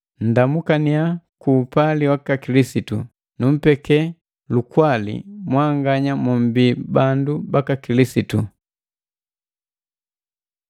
Nndamukaninya ku upali wiki Kilisitu. “Numpeke lukwali mwanganya mombii bandu baka Kilisitu.”